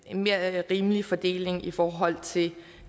mere rimelig fordeling i forhold til